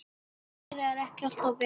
Meira er ekki alltaf betra.